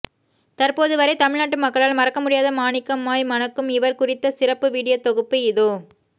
தற்போது வரை தமிழ்நாட்டு மக்களால் மறக்க முடியாத மாணிக்கமாய் மணக்கும் இவர் குறித்த சிறப்பு வீடியோ தொகுப்பு இதோ